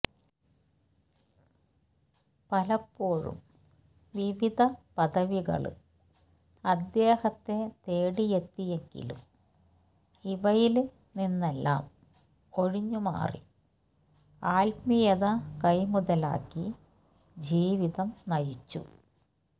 പലപ്പോഴും വിവിധ പദവികള് അദ്ധേഹത്തെ തേടിയെത്തിയെങ്കിലും ഇവയില് നിന്നെല്ലാം ഒഴിഞ്ഞുമാറി ആത്മീയത കൈമുതലാക്കി ജീവിതം നയിച്ചു